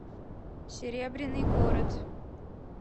серебряный город